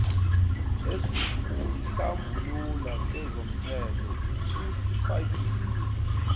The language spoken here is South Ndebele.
esikuhlambulula kezomthelo usifakile